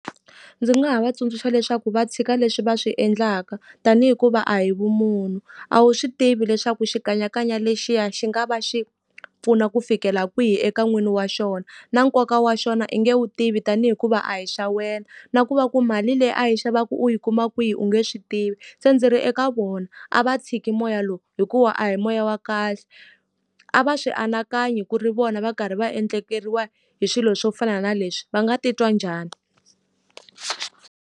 Ndzi nga ha va tsundzuxa leswaku va tshika leswi va swi endlaka ta ni hikuva a hi vumunhu, a wu swi tivi leswaku xikanyakanya lexiya xi nga va xi pfuna ku fikela kwihi eka n'wini wa xona. Na nkoka wa xona u nge wu tivi ta ni hikuva a hi xa wena, na ku va ku mali leyi a yi xavaku u yi kuma kwihi u nge swi tivi. Se ndzi ri eka vona a va tshiki moya lowu, hikuva a hi moya wa kahle. A va swi anakanye ku ri vona va karhi va endlekeriwa hi swilo swo fana na leswi, va nga titwa njhani?